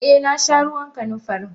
Eh nasha ruwan kanunfari.